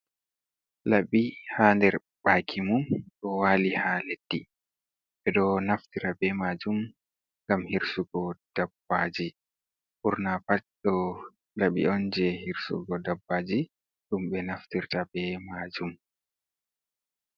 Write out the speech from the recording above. Laɓɓi ha nɗer ɓaki mum ɗo wali ha leɗɗi. Ɓe ɗo naftira ɓe majum ngam hirsugo ɗaɓɓaji. Ɓurna pat ɗo laɓɓi on je hirsugo ɗaɓɓaji, ɗum ɓe naftirta ɓe majum.